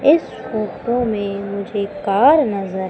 इस फोटो में मुझे कार नजर--